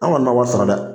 An kɔni ma wari sara dɛ